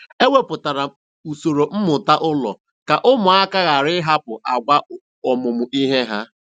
E wepụtara m usoro mmụta ụlọ ka ụmụaka ghara ịhapụ àgwà ọmụmụ ihe ha.